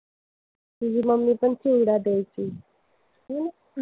तुझी मम्मी पण चिवडा द्यायची. हो ना?